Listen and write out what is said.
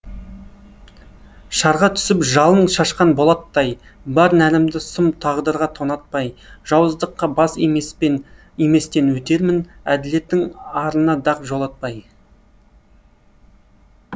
шарға түсіп жалын шашқан болаттай бар нәрімді сұм тағдырға тонатпай жауыздыққа бас иместен өтермін әділеттің арына дақ жолатпай